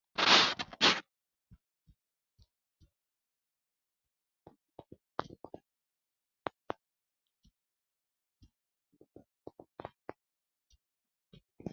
tini lowo geeshsha biiffannoti dancha gede biiffanno footo danchu kaameerinni haa'noonniti qooxeessa biiffannoti tini kultannori maatiro seekkine la'niro biiffannota faayya ikkase kultannoke misileeti yaate